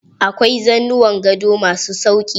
Akwai za nuwan gado ma su sauƙi.